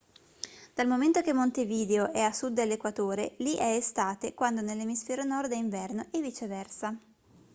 dal momento che montevideo è a sud dell'equatore li è estate quando nell'emisfero nord è inverno e viceversa